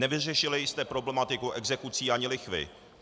Nevyřešili jste problematiku exekucí ani lichvy.